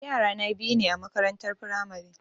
Yara na biyu ne a makarantar firamare